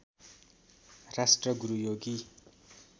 राष्ट्र गुरु योगी